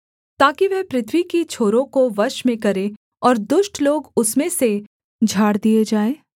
ताकि वह पृथ्वी की छोरों को वश में करे और दुष्ट लोग उसमें से झाड़ दिए जाएँ